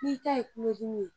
N'i ta ye kulodimi ye